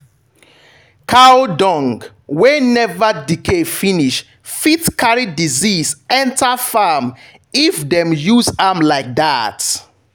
cow dung wey never decay finish fit carry disease enter farm if dem use am like that.